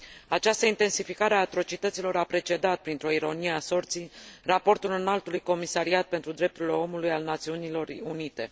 Această intensificare a atrocităților a precedat, printr o ironie a sorții, raportul Înaltului Comisariat pentru Drepturile Omului al Națiunilor Unite.